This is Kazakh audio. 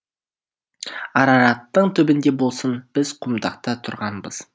арараттың түбінде болсын біз құмдақта тұрғанбыз